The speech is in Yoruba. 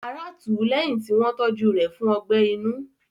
Ará tù ú lẹ́yìn tí wọ́n tọ́jú rẹ̀ fún ọgbẹ́ inú.